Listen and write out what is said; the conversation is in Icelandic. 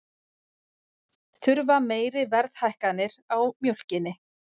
Þurfa meiri verðhækkanir á mjólkinni